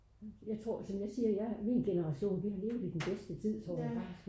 jeg tror som jeg siger min generation vi har levet i den bedste tid tror jeg faktisk